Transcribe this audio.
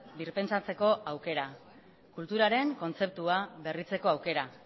birpentsatzeko aukera kulturaren kontzeptua berritzeko aukera